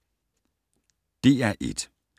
DR1